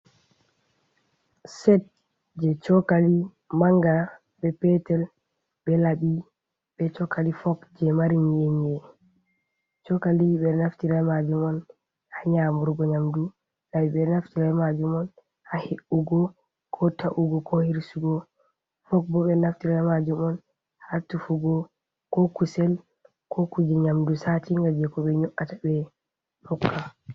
Set je chokali manga be petel. Be labi be chokkali fok. Je mari yiene. cokkali be naftira majo mon ha nyamurgo nyamɗu. labi benaftira be majom on ha he’ugo ko ta’ugo ko hirsugo. Fok bo be naftira be majo on ha tufugo ko kusel, ko kuje nyamɗu satinga je ko be nyoata be hokka.